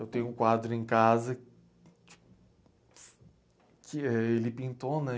Eu tenho um quadro em casa que, que ele pintou, né?